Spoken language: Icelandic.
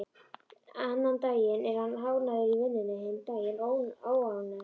Annan daginn er hann ánægður í vinnunni, hinn daginn óánægður.